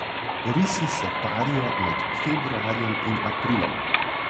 Risi se parijo med februarjem in aprilom.